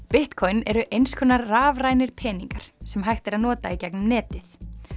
Bitcoin eru eins konar rafrænir peningar sem hægt er að nota í gegnum netið